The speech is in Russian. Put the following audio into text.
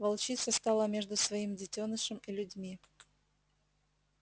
волчица стала между своим детёнышем и людьми